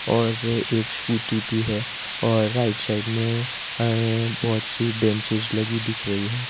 और एक स्कूटी भी है और राइट साइड में हाए बहुत सी बेंचेज लगी दिख रही है।